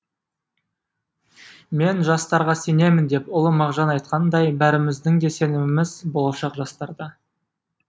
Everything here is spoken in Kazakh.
мен жастарға сенемін деп ұлы мағжан айтқанындай бәріміздің де сеніміміз болашақ жастарда